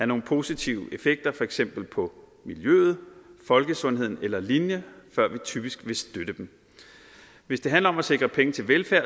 nogle positive effekter for eksempel på miljøet folkesundheden eller lignende før vi typisk vil støtte dem hvis det handler om at sikre penge til velfærd